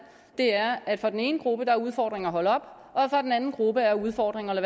er at for den ene gruppe er udfordringen at holde op og for den anden gruppe af udfordringen at